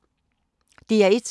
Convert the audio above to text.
DR1